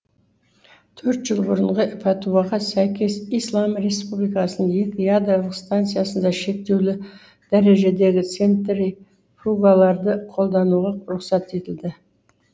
төрт жыл бұрынғы пәтуаға сәйкес ислам республикасының екі ядролық станциясында шектеулі дәрежедегі центри фугаларды қолдануға рұқсат етілді